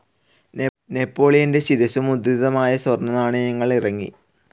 നെപോളിയന്റെ ശിരസ്സു മുദ്രിതമായ സ്വർണനാണയങ്ങൾ ഇറങ്ങി.